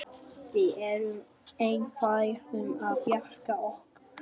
Við erum einfær um að bjarga okkur.